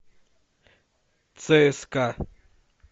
цска